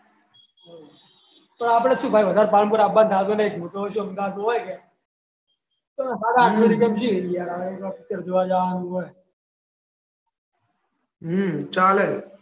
તો આપણે શું ભાઈ કામ પર આવવાનું થતું નહીં કોક દિવસ થતું હોય ને પિક્ચર જોવા જવાનું હોય. ચાલે